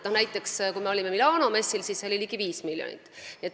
Näiteks Milano messil osalemine läks maksma ligi viis miljonit.